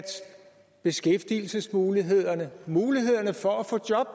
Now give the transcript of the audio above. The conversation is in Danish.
beskæftigelsesmulighederne mulighederne for at få job